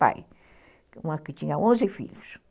pai, uma que tinha onze filhos.